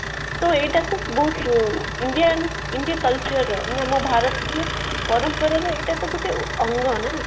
ତ ଏଇଟାକୁ ବହୁତ indian india culture ର ପରମ୍ପରାର ଏଇଟା ତ ଗୋଟେ ଅଙ୍ଗ ନା